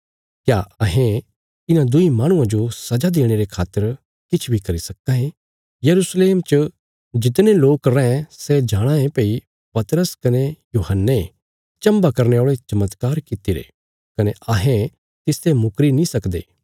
क्या अहें इन्हां दुईं माहणुआं जो सजा देणे रे खातर किछ बी करी सक्कां ये यरूशलेम च जितने लोक रैं सै जाणाँ ये भई पतरस कने यूहन्ने चम्भा करने औल़े चमत्कार कित्तिरे कने अहें तिसते मुकरी नीं सकदे